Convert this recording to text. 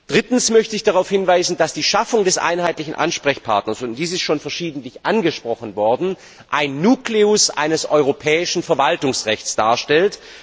Drittens möchte ich darauf hinweisen, dass die Schaffung des einheitlichen Ansprechpartners und dies ist schon verschiedentlich angesprochen worden dem Nukleus eines europäischen Verwaltungsrechts darstellt.